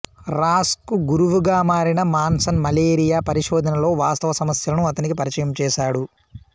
Ross కు గురువుగా మారిన మాన్సన్ మలేరియా పరిశోధనలో వాస్తవ సమస్యలను అతనికి పరిచయం చేశాడు